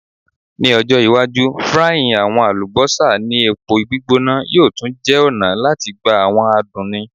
Ni ojo iwaju frying awọn alubosa ni epo gbigbona yoo tun jẹ ọna lati gba awọn adun ni